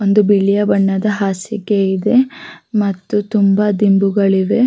ಇಲ್ಲಿ ಬಿಳಿಯ ಬಣ್ಣದ ದಿಂಬುಗಳು ಕೂಡ ನೋಡಲು ಸಿಗುತ್ತದೆ.